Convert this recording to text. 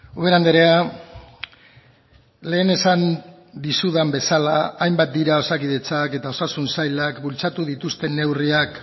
ubera andrea lehen esan dizudan bezala hainbat dira osakidetzak eta osasun sailak bultzatu dituzten neurriak